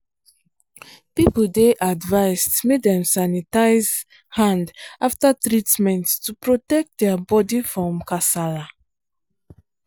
people dey advised make dem sanitize hand after treatment to protect their body from kasala.